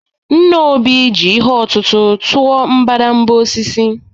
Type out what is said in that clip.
Nna Obi ji ihe ọ̀tụ̀tụ̀ tụọ mbadamba osisi